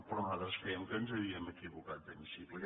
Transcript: però nosaltres crèiem que ens havíem equivocat d’hemicicle